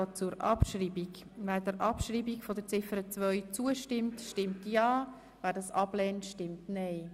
Wer der Abschreibung von Ziffer 2 zustimmt, stimmt ja, wer dies ablehnt, stimmt nein.